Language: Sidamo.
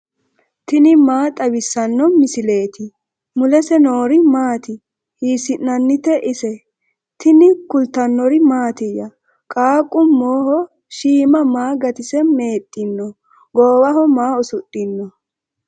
tini maa xawissanno misileeti ? mulese noori maati ? hiissinannite ise ? tini kultannori mattiya? Qaaqu moho shiimma maa gatise meexinno? goowaho maa usudhinno?